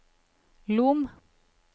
Lom